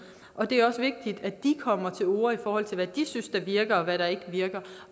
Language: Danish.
og det er også vigtigt at de kommer til orde i forhold til hvad de synes der virker og hvad der ikke virker